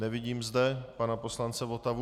Nevidím zde pana poslance Votavu.